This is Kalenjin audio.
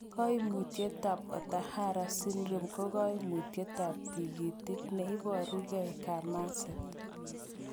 Koimutietab Ohtahara syndrome ko koimutitab tikitik neiborengei kamaset.